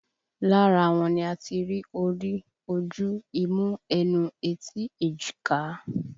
Lára wọn ni a ti rí orí, ojú, imú, ẹnu, etí, èjìká